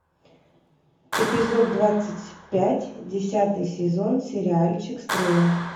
эпизод двадцать пять десятый сезон сериальчик стрела